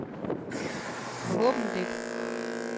forhåbentlig